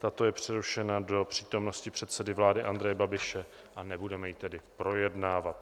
Tato je přerušena do přítomnosti předsedy vlády Andreje Babiše, a nebudeme ji tedy projednávat.